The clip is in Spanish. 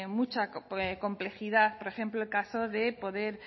mucha complejidad por ejemplo el caso de poder